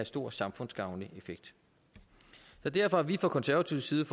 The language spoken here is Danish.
stor samfundsgavnlig effekt derfor har vi fra konservativ side